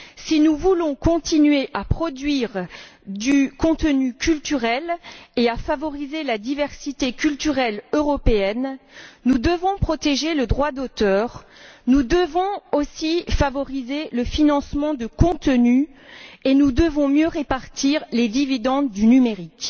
Si nous voulons continuer à produire du contenu culturel et à favoriser la diversité culturelle européenne, nous devons protéger le droit d'auteur. Nous devons aussi favoriser le financement de contenus et nous devons mieux répartir les dividendes du numérique.